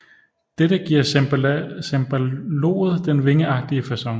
Dette giver cembaloet den vingeagtige facon